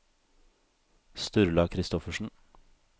Sturla Kristoffersen